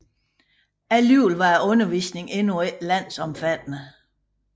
Alligevel var undervisningen endnu ikke landsomfattende